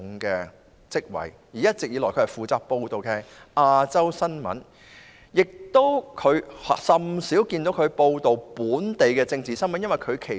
他一直以來負責報道亞洲新聞，甚少報道本港政治新聞。